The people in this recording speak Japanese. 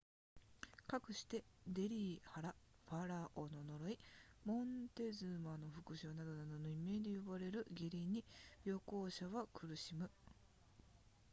かくしてデリー腹ファラオの呪いモンテズマの復讐などなどの異名で呼ばれる下痢に旅行者は苦しむ